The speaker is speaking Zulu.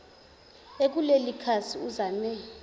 ekuleli khasi uzame